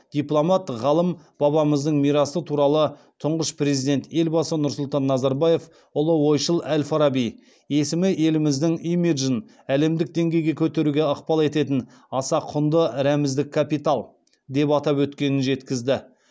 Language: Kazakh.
дипломат ғалым бабамыздың мирасы туралы тұңғыш президент елбасы нұрсұлтан назарбаев ұлы ойшыл әл фараби есімі еліміздің имиджін әлемдік деңгейге көтеруге ықпал ететін аса құнды рәміздік капитал деп атап өткенін жеткізді